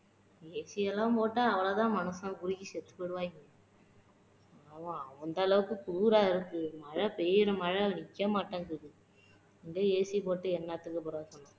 AC எல்லாம் போட்டா அவ்வளவு தான் மனுஷன் உருகி செத்து போய்ருவாங்க. அந்த அலவுக்கு குளுரா இருக்கு, மழை பெய்யுற மழை நிக்க மாட்டேங்குது AC போட்டு என்னத்துக்கு பிரயோஜனம்.